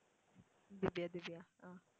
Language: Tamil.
திவ்யா திவ்யா ஆஹ்